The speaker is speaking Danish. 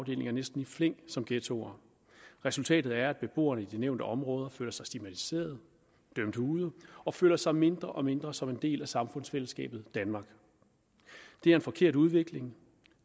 næsten i flæng som ghettoer resultatet er at beboerne i de nævnte områder føler sig stigmatiserede dømt ude og føler sig mindre og mindre som en del af samfundsfællesskabet danmark det er en forkert udvikling